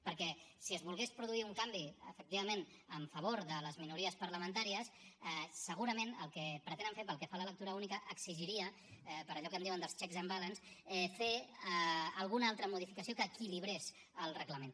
perquè si es volgués produir un canvi efectivament en favor de les minories parlamentàries segurament el que pretenen fer pel que fa a la lectura única exigiria per allò que en diuen dels checks and balances fer alguna altra modificació que equilibrés el reglament